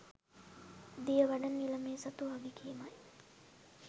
දියවඩන නිලමේ සතු වගකීමයි.